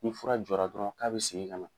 Ni fura jɔra dɔrɔn k'a be segin ka na.